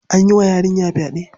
An yi wa yarinya fyaɗe.